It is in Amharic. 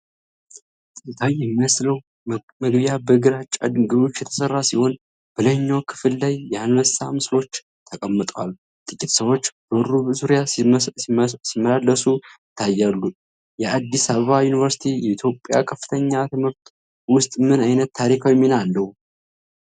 ጥንታዊ የሚመስለው መግቢያ በግራጫ ድንጋዮች የተሠራ ሲሆን፣ በላይኛው ክፍል ላይ የአንበሳ ምስሎች ተቀምጠዋል። ጥቂት ሰዎች በሩ ዙሪያ ሲመላለሱ ይታያሉ። የአዲስ አበባ ዩኒቨርሲቲ የኢትዮጵያ ከፍተኛ ትምህርት ውስጥ ምን ዓይነት ታሪካዊ ሚና አለው?